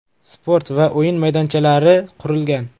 Sport va o‘yin maydonchalari qurilgan.